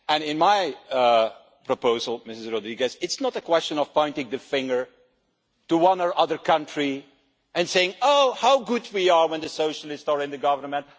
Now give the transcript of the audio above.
In my proposal, Mrs Rodrigues, it's not a question of pointing the finger at one or other country and saying Oh how good we are when the socialists are in the government